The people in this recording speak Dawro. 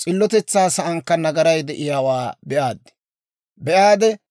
s'illotetsaa saankka nagaray de'iyaawaa be'aaddi.